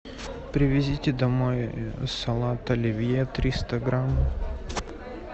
привезите домой салат оливье триста грамм